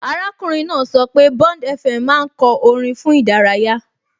Arákùnrin náà sọ pé BondFM máa ń kọ orin fún ìdárayá